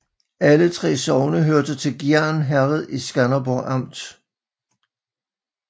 Alle 3 sogne hørte til Gjern Herred i Skanderborg Amt